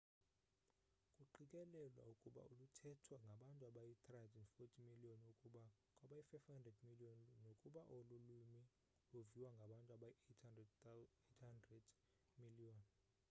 kuqikelelwa ukuba luthethwa ngabantu abayi-340 miliyoni ukuya kwabayi-500 miliyoni nokuba olu lwimi luviwa ngabantu abayi-800 miliyoni